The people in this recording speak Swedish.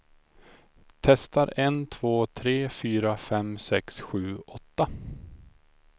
Testar en två tre fyra fem sex sju åtta.